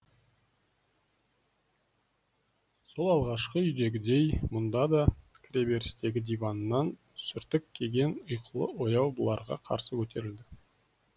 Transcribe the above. сол алғашқы үйдегідей мұнда да кіреберістегі диваннан сүртік киген ұйқылы ояу бұларға қарсы көтерілді